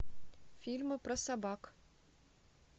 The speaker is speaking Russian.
фильмы про собак